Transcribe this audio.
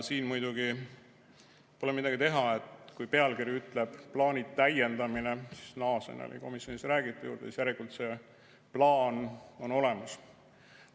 Siin muidugi pole midagi teha, et kui pealkiri ütleb "plaanide täiendamine" – naaseme komisjonis räägitu juurde –, siis järelikult see plaan on olemas.